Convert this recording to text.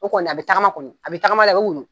O kɔni a bɛ tagama kɔni , a bɛ tagama la a bɛ woyo!